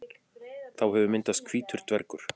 Þá hefur myndast hvítur dvergur.